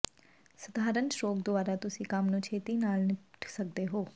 ਸਧਾਰਨ ਸਟ੍ਰੋਕ ਦੁਆਰਾ ਤੁਸੀਂ ਕੰਮ ਨੂੰ ਛੇਤੀ ਨਾਲ ਨਿਪਟ ਸਕਦੇ ਹੋ